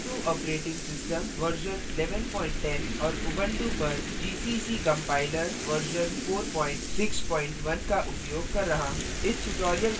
ubuntu operating system version 1110 और ubuntu पर gcc compiler version 461 का उपयोग कर रहा हूँ